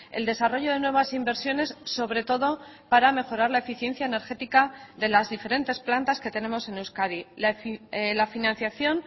el desarrollo de nuevas inversiones sobre todo para mejorar la eficiencia energética de las diferentes plantas que tenemos en euskadi la financiación